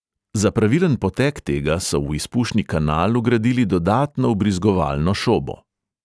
Za pravilen potek tega so v izpušni kanal vgradili dodatno vbrizgovalno šobo.